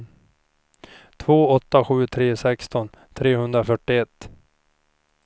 två åtta sju tre sexton trehundrafyrtioett